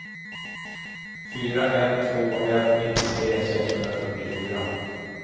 fyra ett två ett nittiotre sexhundrafyrtiofyra